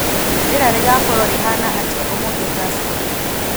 Rĩera rĩgaakorwo rĩhaana atĩa ũmũthĩ tucson